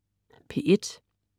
P1: